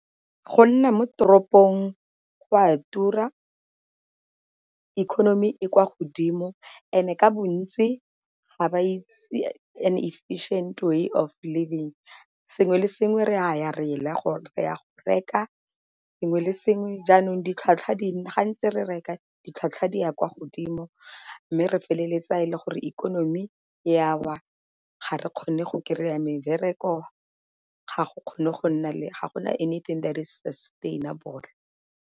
Go nna mo toropong go a tura, economy e kwa godimo, and-e ka bontsi ga ba itse an efficient way of living sengwe le sengwe re a ya go reka sengwe le sengwe. Jaanong ditlhwatlhwa di nna, ga ntse re reka ditlhwatlhwa di ya kwa godimo mme re feleletsa e le gore ikonomi ya wa, ga re kgone go kry-a mebereko ga go kgone go nna le, ga gona anything that is sustainable.